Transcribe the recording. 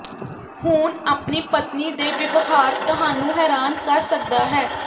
ਹੁਣ ਆਪਣੀ ਪਤਨੀ ਦੇ ਵਿਵਹਾਰ ਤੁਹਾਨੂੰ ਹੈਰਾਨ ਕਰ ਸਕਦਾ ਹੈ